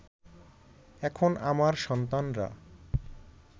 এখন আমার সন্তানরা